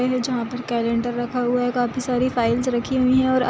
और यह जहाँ पर कैंलडर रखा हुआ है काफी सारी फाइल्स रखी हुई है| और--